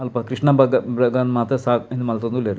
ಅಲ್ಪ ಕ್ರಷ್ನ ಭ್ರಗ ಮ್ರುಗನ್ ಮಾತ ಸಾ ಉಂದು ಮಲ್ತೊಂದು ಉಲ್ಲೆರ್.